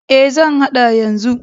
E, zan haɗa yanzu.